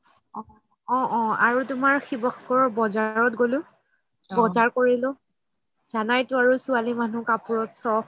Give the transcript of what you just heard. অহ অহ আৰু তুমাৰ শিৱসাগৰৰ বজাৰত গ'লো জানাইটো আৰু ছোৱালি মানুহৰ কাপোৰত চখ